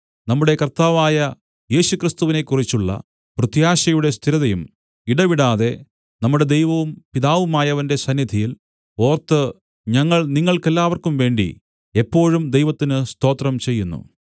നമ്മുടെ കർത്താവായ യേശുക്രിസ്തുവിനെക്കുറിച്ചുള്ള പ്രത്യാശയുടെ സ്ഥിരതയും ഇടവിടാതെ നമ്മുടെ ദൈവവും പിതാവുമായവന്റെ സന്നിധിയിൽ ഓർത്തു ഞങ്ങൾ നിങ്ങൾക്കെല്ലാവർക്കും വേണ്ടി എപ്പോഴും ദൈവത്തിന് സ്തോത്രം ചെയ്യുന്നു